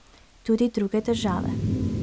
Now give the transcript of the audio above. Tudi druge države.